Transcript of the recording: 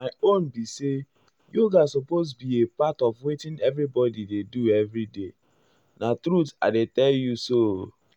my my own be say yoga supose be a part of wetin everybodi dey do everyday. na truth i dey tell you so o.